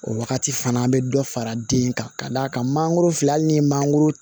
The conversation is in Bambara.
O wagati fana an be dɔ fara den kan ka d'a kan mangoro filɛ hali ni mangoro